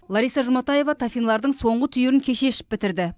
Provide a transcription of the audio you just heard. лариса жұматаева тафинлардың соңғы түйірін кеше ішіп бітірді